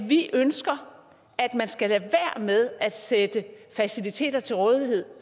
vi ønsker at man skal lade være med at stille faciliteter til rådighed